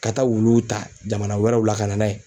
Ka taa wuluw ta jamana wɛrɛw la ka na n'a ye